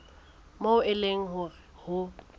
moo e leng hore ho